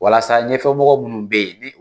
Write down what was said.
Walasa ɲɛfɛ mɔgɔ minnu be yen